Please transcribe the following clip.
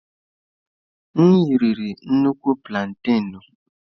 M riri nnukwu plantaịnụ.